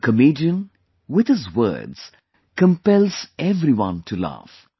A comedian, with his words, compelles everyone to laugh